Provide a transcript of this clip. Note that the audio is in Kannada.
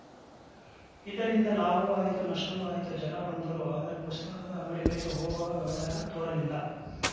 ಇದರಿಂದ ಲಾಭವೂ ಆಯಿತು ನಷ್ಟವೂ ಆಯಿತು ಜನ ಬಂದರು ಆದರೆ ಪುಸ್ತಕದ ಅಂಗಡಿಗಳಿಗೆ ಹೋಗುವ ವ್ಯವಧಾನ ತೋರಲಿಲ್ಲ